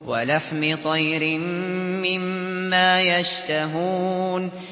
وَلَحْمِ طَيْرٍ مِّمَّا يَشْتَهُونَ